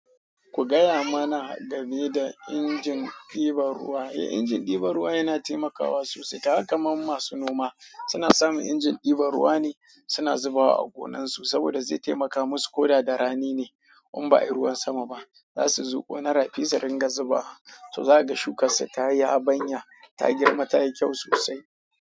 Ku gaya mana game da injin ɗiban ruwa. Eh, injin ɗiban ruwa yana taimakawa sosai. Kaga kaman masu noma suna samun injin ɗiban ruwa ne suna zubawa a gonansu saboda zai taimaka musu ko da darani ne in ba ayi ruwan sama ba. Za su zuƙo na rafi su ringa zuba. To zaga shukarsa ta yi habanya, ta girma ta yi kyau sosai.